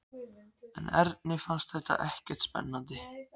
En Erni fannst þetta ekkert spennandi.